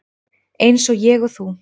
Eins og ég og þú.